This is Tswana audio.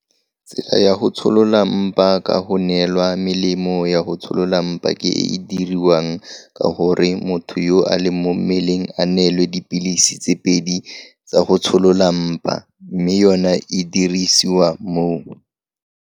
Tsela ya go tsholola mpa ka go neelwa melemo ya go tsholola mpa ke e e diriwang ka gore motho yo a leng mo mmeleng a neelwe dipilisi tse pedi tsa go tsholola mpa, mme yona e dirisiwa mo.